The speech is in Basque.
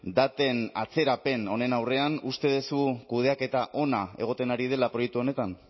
daten atzerapen honen aurrean uste duzu kudeaketa ona egiten ari dela proiektu honetan